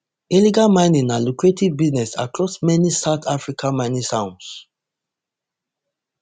illegal mining na lucrative business across many of south africa mining towns